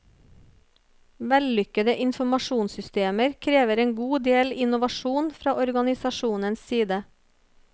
Vellykkede informasjonssystemer krever en god del innovasjon fra organisasjonens side.